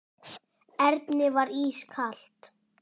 Erni var ískalt.